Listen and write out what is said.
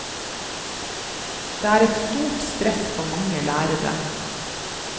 Det er et stort stress for mange lærere.